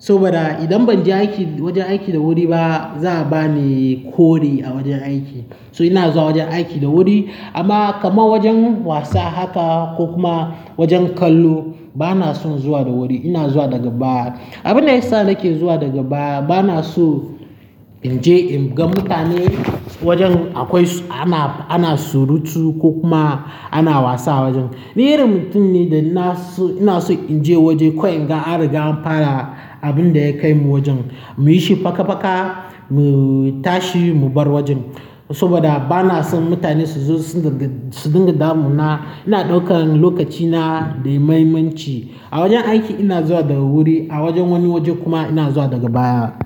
saboda idan ban je aiki wajen aiki da wuri ba za'a bani kore a wajen aiki. So ina zuwa wajen aiki da wuri amma kamar wajen wasa haka ko kuma wajen kallo bana son zuwa da wuri. Ina zuwa daga baya. Abin da ya sa nake zuwa daga baya bana so in je in ga mutane wajen akwai ana, ana surutu ko kuma ana wasa a wajen. Ni irin mutum ne da na so ina so in je waje kawai in ga an riga an fara abun da ya kai mu wajen mu yi shi faka faka mu tashi mu bar wajen saboda bana son mutane su zo su dinga damu na. Ina ɗaukan lokacina da mahimmanci. A wajen aiki ina zuwa daga wuri a wajen wani waje kuma ina zuwa daga baya.